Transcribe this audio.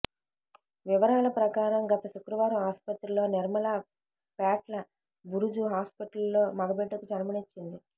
వివరాల ప్రకారం గత శుక్రవారం ఆస్పత్రిలో నిర్మల పేట్ల బురుజు హాస్పిటల్లో మగబిడ్డకు జన్మనిచ్చింది